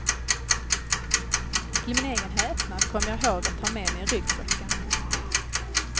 Till min egen häpnad kommer jag ihåg att ta med mig ryggsäcken.